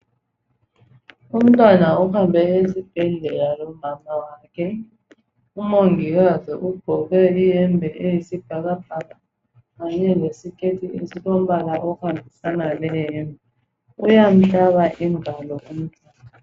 Umntwana ohambe esibhedlela lomama wakhe umongikazi ugqoke iyembe elombala wesibhakabhaka kanye lesiketi esihambelana leyembe uyahlaba ingalo umntwana